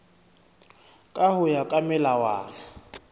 ka ho ya ka melawana